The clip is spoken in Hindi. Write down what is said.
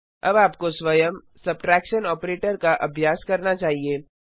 अब आपको स्वयं सब्ट्रैक्शन ऑपरेटर का अभ्यास करना चाहिए